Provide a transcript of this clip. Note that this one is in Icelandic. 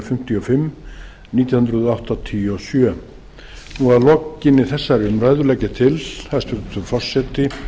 fimmtíu og fimm nítján hundruð áttatíu og sjö að lokinni þessari umræðu legg ég til hæstvirtur forseti